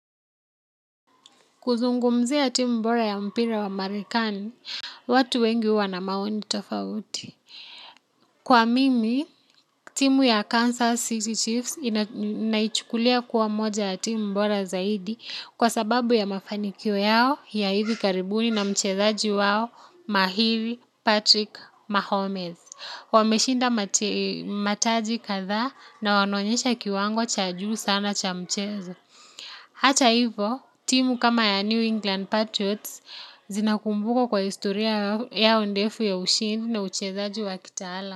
Kuzungumzia timu bora ya mpira wa Marekani, watu wengi huwa na maoni tofauti. Kwa mimi timu ya Kansas series naichukulia kuwa moja ya timu bora zaidi kwa sababu ya mafanikio yao ya hivi karibuni na mchezaji wao mahiri patrick Mahomez wameshinda mataji kadhaa na wanaonyesha kiwango cha juu sana cha mchezo hata hivo, timu kama ya New England Patriots zinakumbukwa kwa historia yao ndefu ya ushindi na uchezaji wa kitaalam.